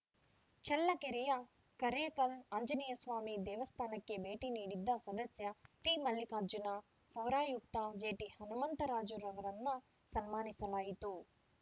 ಚಳ್ಳಕೆರೆಯ ಕರೇಕಲ್‌ ಆಂಜನೇಸ್ವಾಮಿ ದೇವಸ್ಥಾನಕ್ಕೆ ಭೇಟಿ ನೀಡಿದ್ದ ಸದಸ್ಯ ಟಿಮಲ್ಲಿಕಾರ್ಜುನ ಪೌರಾಯುಕ್ತ ಜೆಟಿಹನುಮಂತರಾಜುರವರನ್ನು ಸನ್ಮಾನಿಸಲಾಯಿತು